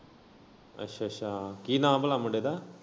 ਅੱਛਾ ਅੱਛਾ ਕੀ ਨਾਂ ਭਲਾ ਮੁੰਡੇ ਦਾ?